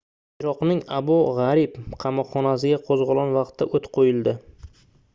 iroqning abu graib qamoqxonasiga qoʻzgʻolon vaqtida oʻt qoʻyildi